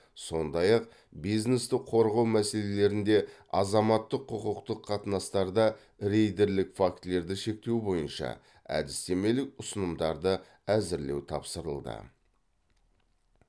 сондай ақ бизнесті қорғау мәселелерінде азаматтық құқықтық қатынастарда рейдерлік фактілерді шектеу бойынша әдістемелік ұсынымдарды әзірлеу тапсырылды